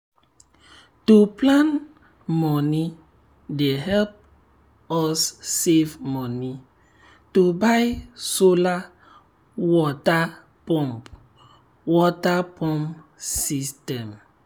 to plan money dey help us save money to buy solar water pump water pump system.